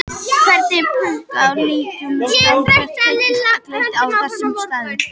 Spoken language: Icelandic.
Hverjum punkti á línuritinu samsvara tiltekin gildi á þessum stærðum.